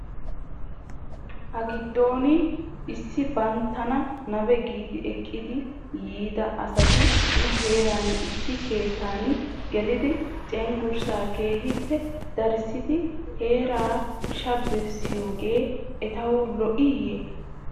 Hagiddon issi banttana nabe gi ekkidi yiida asati nu heeran issi keettan gelidi cengursaa keehippe darissidi heeraa shabbiriyoogee etaw lo'ooyye?